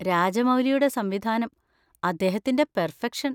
രാജമൗലിയുടെ സംവിധാനം, അദ്ദേഹത്തിന്‍റെ പെർഫെക്ഷൻ.